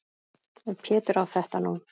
Ef Pétur á þetta nú.